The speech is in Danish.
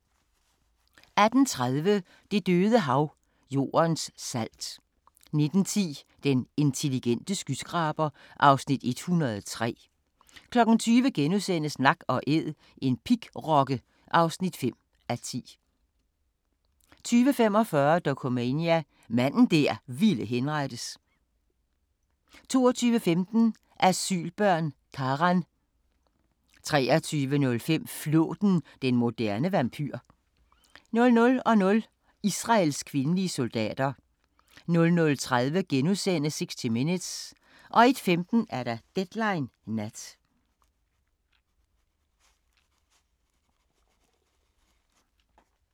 18:30: Det Døde Hav – Jordens salt 19:10: Den intelligente skyskraber (Afs. 103) 20:00: Nak & Æd – en pigrokke (5:10)* 20:45: Dokumania: Manden der ville henrettes 22:15: Asylbørn – Karan 23:05: Flåten – den moderne vampyr 00:00: Israels kvindelige soldater 00:30: 60 Minutes * 01:15: Deadline Nat